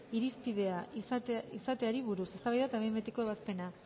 irizpidea izateari buruz eztabaida eta behin betiko ebazpena